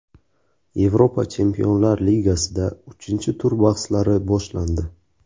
Yevropa Chempionlar ligasida uchinchi tur bahslari boshlandi.